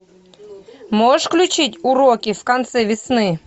можешь включить уроки в конце весны